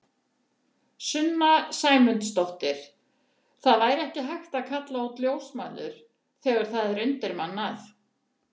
Sunna Sæmundsdóttir: Það væri ekki hægt að kalla út ljósmæður þegar það er undirmannað?